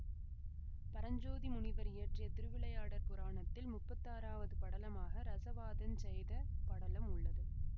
பரஞ்சோதி முனிவர் இயற்றிய திருவிளையாடற் புராணத்தில் முப்பத்தாறாவது படலமாக இரசவாதஞ் செய்த படலம் உள்ளது